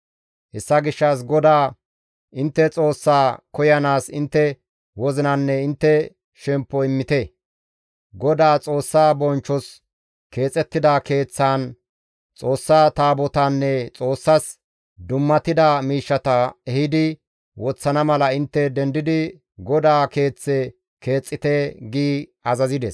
Hessa gishshas GODAA intte Xoossaa koyanaas intte wozinanne intte shemppo immite; GODAA Xoossaa bonchchos keexettida keeththaan Xoossa Taabotaanne Xoossas dummatida miishshata ehidi woththana mala intte dendidi GODAA Keeththe keexxite» gi azazides.